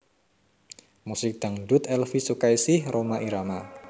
Musik Dangdut Elvie Sukaesih Rhoma Irama